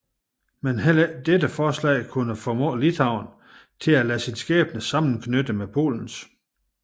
Men heller ikke dette forslag kunne formå Litauen at lade sin skæbne sammenknytte med Polens